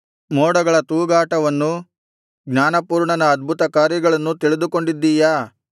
ಮೋಡಗಳ ತೂಗಾಟವನ್ನೂ ಜ್ಞಾನಪೂರ್ಣನ ಅದ್ಭುತಕಾರ್ಯಗಳನ್ನೂ ತಿಳಿದುಕೊಂಡಿದ್ದಿಯಾ